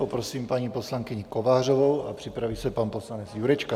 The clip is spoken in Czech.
Poprosím paní poslankyni Kovářovou a připraví se pan poslanec Jurečka.